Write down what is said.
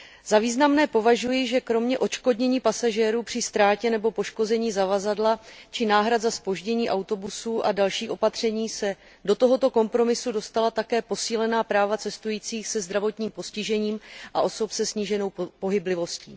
Za významné považuji, že kromě odškodnění pasažérů při ztrátě nebo poškození zavazadla či náhrad za zpoždění autobusů a dalších opatření se do tohoto kompromisu dostala také posílená práva cestujících se zdravotním postižením a osob se sníženou pohyblivostí.